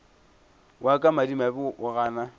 wa ka madimabe o gana